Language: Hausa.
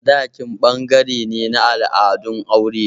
Sadaki ɓangare ne na al'adun aure.